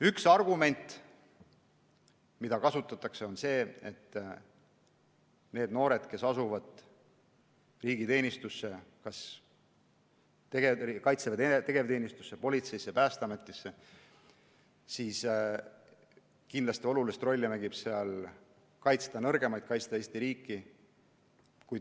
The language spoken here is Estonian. Üks argument mida kasutatakse, on see, et kui noored asuvad riigi teenistusse – Kaitseväe tegevteenistusse, politseisse, Päästeametisse –, siis kindlasti mängib olulist rolli soov kaitsta nõrgemaid, kaitsta Eesti riiki.